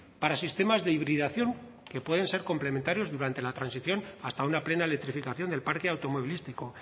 para sistemas de hibridación que pueden ser complementarios durante la transición hasta una plena electrificación del parque automovilístico